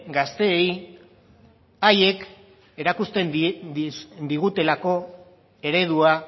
gazteei haiek erakusten digutelako eredua